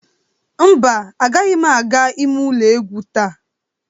Mba, agaghị m aga ime ụlọ egwu taa.